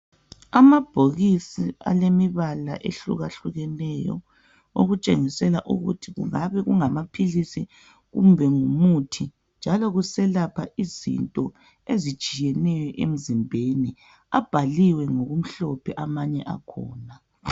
Amabhokisi alemibala ehlukahlukeneyo okutshengisela ukuthi kungabe kungamaphilisi kumbe ngumuthi njalo kuselapha izinto ezitshiyeneyo emzimbeni abhaliwe ngokumhlophe amanye akhona